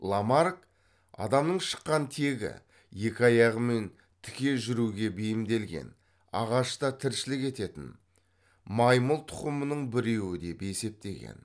ламарк адамның шыққан тегі екі аяғымен тіке жүруге бейімделген ағашта тіршілік ететін маймыл тұқымының біреуі деп есептеген